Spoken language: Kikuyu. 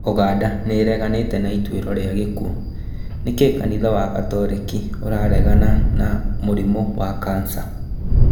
Ũganda nĩĩreganĩte na ituĩro rĩa gĩkuo, nĩkĩ kanitha wa gatoreki ũraregana na mũrimũ wa kansa?